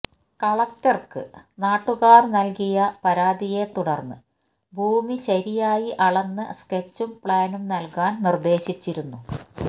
കലക്ടർക്ക് നാട്ടുകാർ നൽകിയ പരാതിയെ തുടർന്ന് ഭൂമി ശരിയായി അളന്ന് സ്കെച്ചും പ്ലാനും നൽകാൻ നിർദ്ദേശിച്ചിരുന്നു